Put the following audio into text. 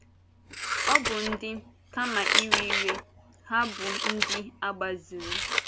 Ọ́ bụ́ dị, kama iwe iwe, ha bụ ndị a gbaziri.